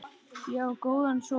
Ég á góðan son.